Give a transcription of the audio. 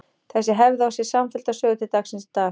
Þessi hefð á sér samfellda sögu til dagsins í dag.